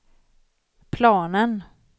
planen